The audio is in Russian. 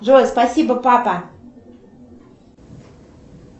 джой спасибо папа